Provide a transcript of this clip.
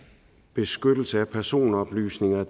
beskyttelse af personoplysninger er